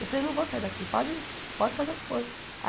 Eu falei, não vou sair daqui, pode pode fazer o que for.